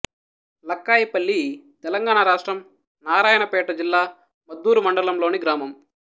లక్కాయిపల్లి తెలంగాణ రాష్ట్రం నారాయణపేట జిల్లా మద్దూరు మండలంలోని గ్రామం